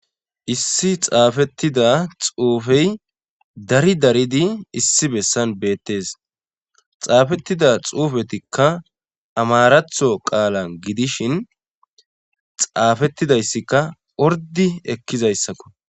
Issi xaafettida xuufey dari daridi issi bessan beettees xaafettida xuufetikka amaratho qaala gidishin xaafettidayssikka ordi ekkizayssakko.